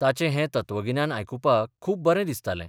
ताचें हें तत्वगिन्यान आयकुपाक खूब बरें दिसतालें.